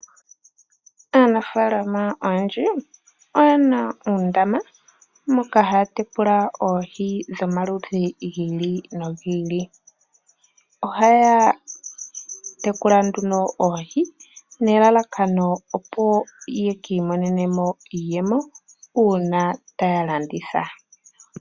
Aanafaalama oyendji oye na uundaama moka haya tekula oohi dhomaludhi gi ili no gi ili, oha ya tekula nduno oohi nelalakano opo ya ka imonene mo iiyemo uuna taya landitha.